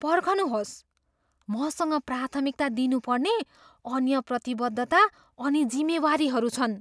पर्खनुहोस्, मसँग प्राथमिकता दिनुपर्ने अन्य प्रतिबद्धता अनि जिम्मेवारीहरू छन्।